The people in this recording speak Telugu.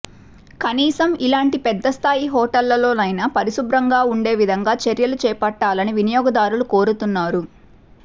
కనీసం ఇలాంటీ పెద్దస్థాయి హోటళ్లలోనైనా పరిశుభ్రంగా ఉండే విధంగా చర్యలు చేపట్టాలని వినియోగదారులు కోరుతున్నారు